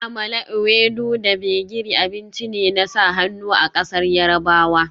Amala, ewedu da gbegiri abinci ne na sa hannu a ƙasar Yarbawa